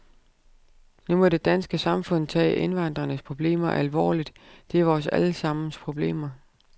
Nu må det danske samfund tage indvandrernes problemer alvorligt, det er vores alle sammens problemer.